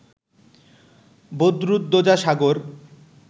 Badruddoza Sagar